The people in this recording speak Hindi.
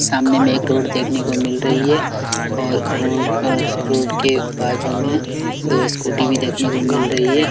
सामने में एक रोड देखने को मिल रही हैं और रोड और रोड के बाजु में दो स्कूटी भी देखने को मिल रही हैं।